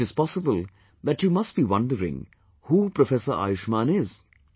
It is possible that you must be wondering who Professor Ayushman is